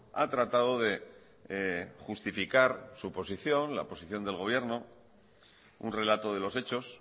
ha tratado de justificar su posición la posición del gobierno un relato de los hechos